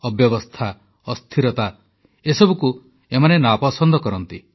ଅବ୍ୟବସ୍ଥା ଅସ୍ଥିରତା ଏସବୁକୁ ଏମାନେ ନାପସନ୍ଦ କରନ୍ତି